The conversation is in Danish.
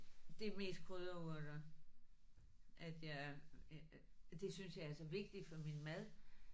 Det er mest krydderurter at jeg. Det synes jeg er så vigtigt for min mad